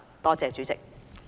多謝主席。